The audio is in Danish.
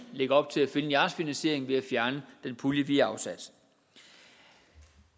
lægger op til at finde jeres finansiering ved at fjerne den pulje vi afsatte